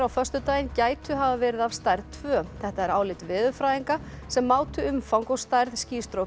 á föstudaginn gætu hafa verið af stærð tvö þetta er álit veðurfræðinga sem mátu umfang og stærð